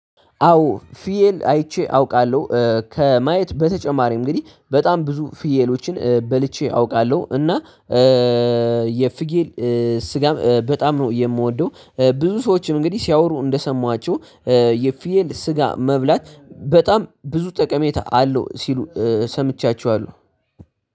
አዎ ፍየል አይቼ አውቃለሁ ከማየት በተጨማሪ እንግዲህ በጣም ብዙ ፍየሎችን በልቼ አውቃለሁ። እና የፍየል ስጋም በጣም ነው የምወደው። ብዙ ሰዎችም እንግዲህ ሲያወሩ እንደሰማዋቸሁ የፍየል ስጋ መብላት በጣም ብዙ ጠቀሜታ አለው ሲሉ ሰምቻቸዋለሁ።